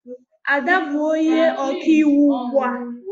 Ada bụ onye ọkaiwu ugbu a